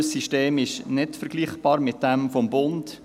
Unser System ist nicht vergleichbar mit jenem des Bundes.